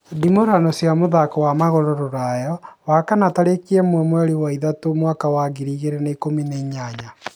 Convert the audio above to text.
ndimurano cia mũthako wa magũrũ Rũraya Wakana tarĩki ĩmwe mweri wa ithatũ mwaka wa ngiri ĩgĩri na ĩkumi na inyanya